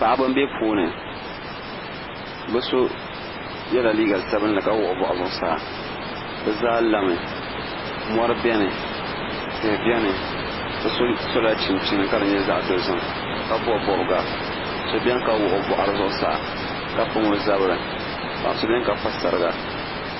Paɣiba m-be puuni bɛ so yela liiga sabinli ka wuɣi o bɔɣu zuɣusaa bɛ zaa lami mɔri beni tihi beni bi so sola chinchini ka di nyɛ zaɣ'dozim ka bɔbi bɔbiga so beni ka wuɣi o bɔɣiri zuɣusaa ka pam o zabiri paɣa so beni ka pa sariga.